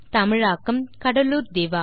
தமிழாக்கம் கடலூர் திவா